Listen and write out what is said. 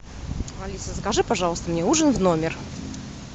алиса закажи пожалуйста мне ужин в номер